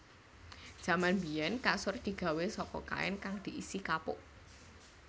Jaman biyèn kasur digawé saka kain kang diisi kapuk